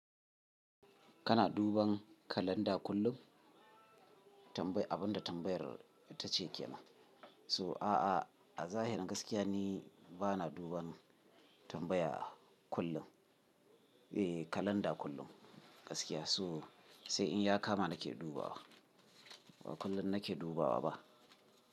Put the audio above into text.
Kana duban kalanda kullum tambayi abinda tambayar ta ce kema? So a'a a zahirin gaskiya ni bana duban tambaya kullum. Eh kalanda kullum gaskiya so sai in ya kama nake dubawa ba kullum nake dubawa ba.